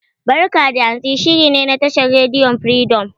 "Barka da Hantsi" shiri ne na tashar rediyon Firidom.